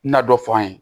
Na dɔ fɔ an ye